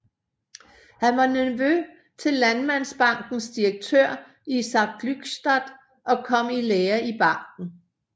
Han var nevø til Landmandsbankens direktør Isak Glückstadt og kom i lære i banken